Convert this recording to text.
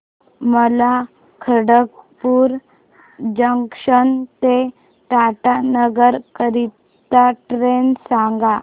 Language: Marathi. मला खडगपुर जंक्शन ते टाटानगर करीता ट्रेन सांगा